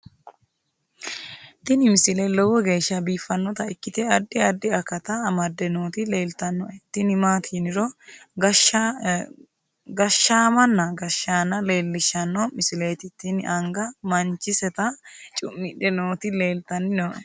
tini misile lowo geeshsha biiffannota ikkite addi addi akata amadde nooti leeltannoe tini maati yiniro gashshaamanna gashshaanna leellishshanno misileeti tini anga manchiseta cu'midhe nooti leeltanni nooe